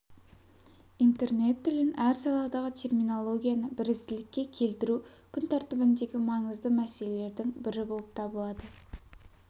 интернет тілін әр саладағы терминологияны бірізділікке келтіру күн тәр ндегі маңызды мәселелердің бірі болып лады